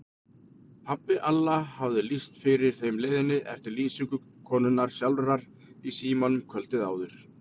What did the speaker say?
Pabbi Alla hafði lýst fyrir þeim leiðinni eftir lýsingu konunnar sjálfrar í símanum kvöldið áður.